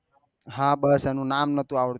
હા બસ એનું નામ નથી આવડતું